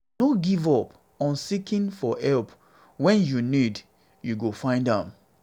no give up on seeking for help when you need you go find am